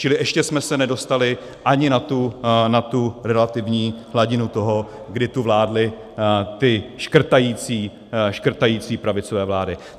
Čili ještě jsme se nedostali ani na tu relativní hladinu toho, kdy tu vládly ty škrtající pravicové vlády.